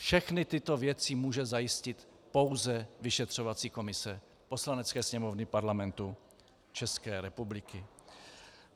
Všechny tyto věci může zajistit pouze vyšetřovací komise Poslanecké sněmovny Parlamentu České republiky.